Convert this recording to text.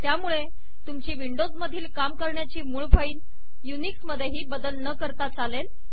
त्यामुळे तुमची विंडोज मधील काम करण्याची मूळ फाईल युनिक्स मधेही बदल न करता चालेल